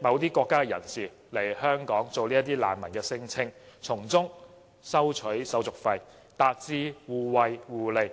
某些國家的人士來港做難民聲請，從中收取手續費，達致互惠互利。